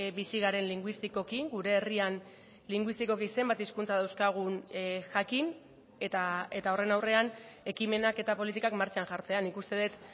bizi garen linguistikoki gure herrian linguistikoki zenbat hizkuntza dauzkagun jakin eta horren aurrean ekimenak eta politikak martxan jartzea nik uste dut